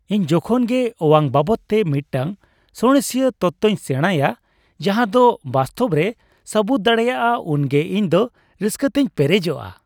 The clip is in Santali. ᱤᱧ ᱡᱚᱠᱷᱚᱱ ᱜᱮ ᱚᱣᱟᱝ ᱵᱟᱵᱚᱫᱛᱮ ᱢᱤᱫᱴᱟᱝ ᱥᱟᱬᱮᱥᱤᱭᱟᱹ ᱛᱚᱛᱛᱚᱧ ᱥᱮᱬᱟᱭᱟ ᱡᱟᱦᱟᱸᱫᱚ ᱵᱟᱥᱛᱚᱵ ᱨᱮ ᱥᱟᱹᱵᱩᱫ ᱫᱟᱲᱮᱭᱟᱜᱼᱟ ᱩᱱ ᱜᱮ ᱤᱧᱫᱚ ᱨᱟᱹᱥᱠᱟᱹᱛᱮᱧ ᱯᱮᱨᱮᱡᱚᱜᱼᱟ ᱾